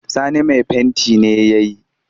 Sani mai fenti ne ya yi